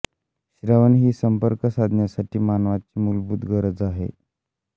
श्रवण ही संपर्क साधण्यासाठी मानवाची मुलभूत गरज आहे